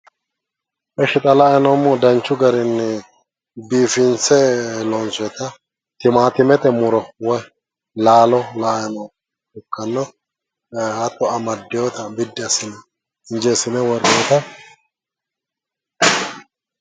Ishi xa la'ayi noommohu danchu garinni biifinse loonsoyeta timaatime muro woy laalo la'ay noommoha ikkanno, hakko amaddewoota injeessine worroyeeta.